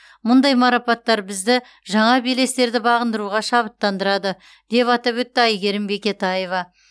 мұндай марапаттар бізді жаңа белестерді бағындыруға шабыттандырады деп атап өтті әйгерім бекетаева